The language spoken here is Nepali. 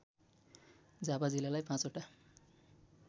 झापा जिल्लालाई ५ वटा